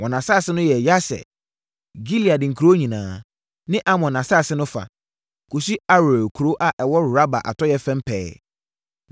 Wɔn asase no yɛ Yaser, Gilead nkuro nyinaa, ne Amon asase no fa, kɔsi Aroer kuro a ɛwɔ Raba atɔeɛ fam pɛɛ.